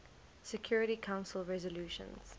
security council resolutions